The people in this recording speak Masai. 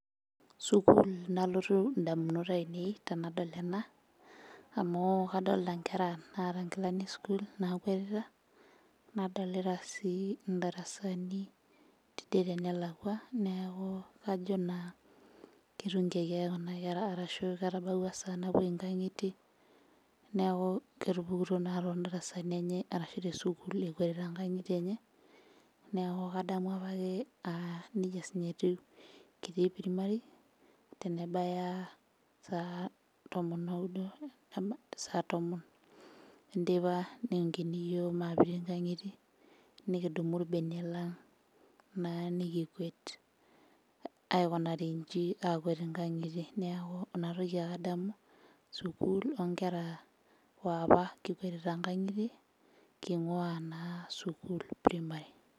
Sukuul nalotu indamunot ainei tenadol ena amu kadolta inkera naata inkilani esukuul nakwetita nadolita sii indarasani tidie tenelakua neeku kajo naa ketunkiaki ake kuna kera arashu ketabawua esaa napuoi inkang'itie neeku ketupukutuo naa tondarasani enye arashu tesukuul ekwetita inkang'itie enye neku kadamu apake uh nejia sininye etiu kitii primary tenebaya saa tomonoudo endama, saa tomon enteipa niunkini iyiok mapete inkang'itie nikidumu irbenia lang naa nikikuet aikunari inji akuet inkang'itie neeku inatoki ake adamu sukuul onkera woapa kikwetita nkang'itie king'ua naa sukuul primary.